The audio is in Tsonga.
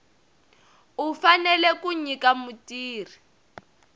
u fanele ku nyika mutirhi